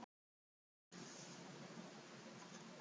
Ætliði að fá einhverja erlenda leikmenn?